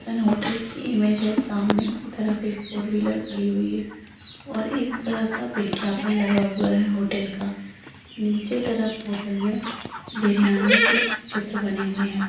N hotel की image सामने की तरफ एक फोर व्हीलर खड़ी हुई है और एक बड़ा सा विज्ञापन लगा हुआ है होटल का नीचे तरफ बिरयानी के चित्र बने हुए हैं|